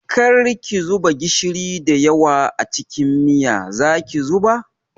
Kar ki zuba gishiri da yawa a cikin miya, zaki zuba?